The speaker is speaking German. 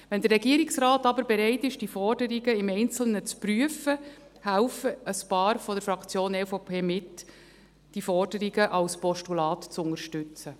Wenn der Regierungsrat aber bereit ist, die Forderungen im Einzelnen zu prüfen, helfen ein paar von der Fraktion EVP mit, diese Forderungen als Postulat zu unterstützen.